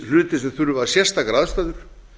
hluti sem þurfa sérstakar aðstæður